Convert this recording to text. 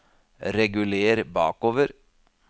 reguler bakover